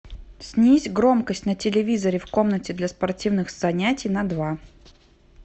снизь громкость на телевизоре в комнате для спортивных занятий на два